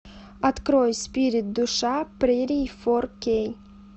открой спирит душа прерий фор кей